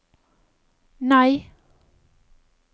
nei